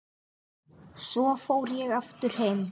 Svo fór ég aftur heim.